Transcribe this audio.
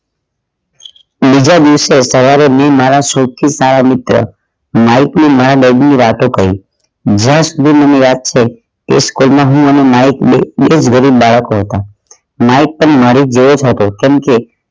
ત્રીજા દિવસે સવારે મારા સૌથી સારા મિત્ર માઇક ને મારા દર્દ ની વાતો કહી જ્યાં સુધી મને યાદ છે તે school માં હું અને માઇક બે જોડે બાળકો હતા માઇક પણ મારી જેવો જ હતો કેમ કે